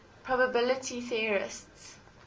probability theorists